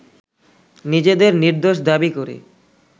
নিজেদের নির্দোষ দাবি করে